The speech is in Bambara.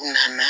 U nana